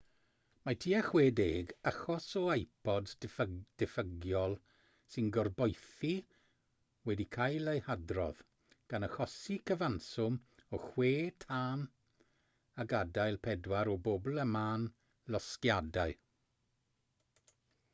mae tua 60 achos o ipods diffygiol sy'n gorboethi wedi cael eu hadrodd gan achosi cyfanswm o chwe thân a gadael pedwar o bobl a mân losgiadau